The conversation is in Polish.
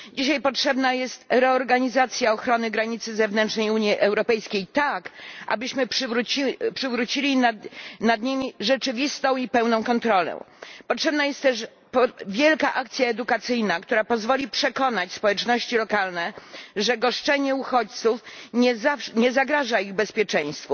Dzisiaj potrzebna jest reorganizacja ochrony granicy zewnętrznej Unii Europejskiej tak, abyśmy przywrócili nad nimi rzeczywistą i pełną kontrolę. Potrzebna jest też wielka akcja edukacyjna, która pozwoli przekonać społeczności lokalne, że goszczenie uchodźców nie zagraża ich bezpieczeństwu.